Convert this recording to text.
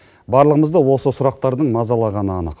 барлығымызды осы сұрақтардың мазалағаны анық